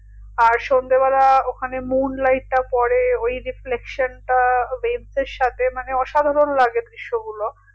আর সন্ধে বেলা ওখানে moon light টা পরে ওই যে reflexion টা waves এর সাথে মানে অসাধারণ লাগে দৃশ্যগুলো